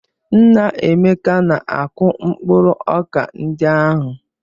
Nna Emeka na-akụ mkpụrụ ọka ndị ahụ?